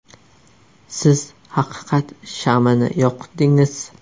Siz haqiqat shamini yoqdingiz.